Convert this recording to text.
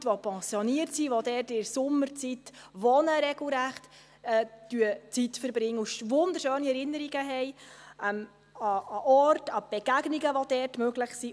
Leute, die pensioniert sind, die dort in der Sommerzeit regelrecht wohnen und ihre Zeit verbringen und wunderschöne Erinnerungen haben an den Ort, an die Begegnungen, die dort möglich sind.